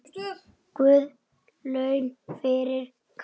Guð laun fyrir kaffið.